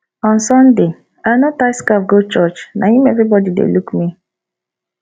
on sunday i no tie scarf go church na im everybody dey look me